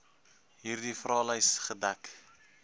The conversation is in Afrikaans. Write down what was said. hierdie vraelys gedek